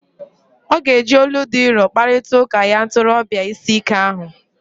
Ọ ga-eji olu dị nro kparịta ụka ya ntorobia ịsị ike ahụ.